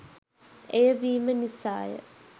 එය වීම නිසාය